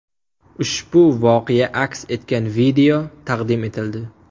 Ushbu voqea aks etgan video taqdim etildi.